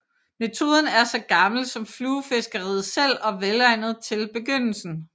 Metoden er så gammel som fluefiskeriet selv og velegnet til begynderen